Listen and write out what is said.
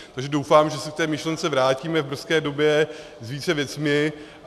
Takže doufám, že se k té myšlence vrátíme v brzké době s více věcmi.